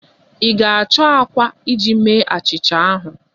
Ị ga-achọ àkwá iji mee achịcha ahụ.